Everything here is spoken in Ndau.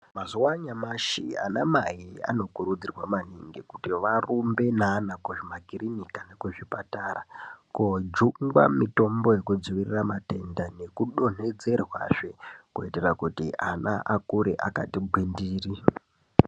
Mazuva anyamashi ana mai anokurudzirwa maningi kuti varumbe ne ana kuzvima kirinika ku zvipatara ko jungwa mitombo yeku dzivirira matenda neku donhedzerwa zve kuti ana akure akati ngwindiri.